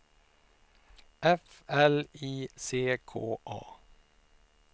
F L I C K A